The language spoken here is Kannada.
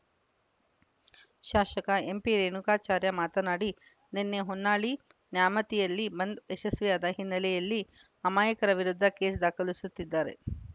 ಶಾಸಕ ಎಂಪಿರೇಣುಕಾಚಾರ್ಯ ಮಾತನಾಡಿ ನಿನ್ನೆ ಹೊನ್ನಾಳಿ ನ್ಯಾಮತಿಯಲ್ಲಿ ಬಂದ್‌ ಯಶಸ್ವಿಯಾದ ಹಿನ್ನೆಲೆಯಲ್ಲಿ ಅಮಾಯಕರ ವಿರುದ್ಧ ಕೇಸ್‌ ದಾಖಲಿಸುತ್ತಿದ್ದಾರೆ